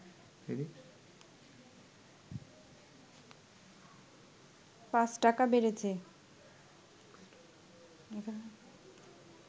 ৫ টাকা বেড়েছে